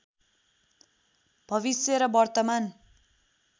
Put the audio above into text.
भविष्य र वर्तमान